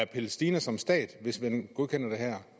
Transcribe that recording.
palæstina som stat hvis man godkender det her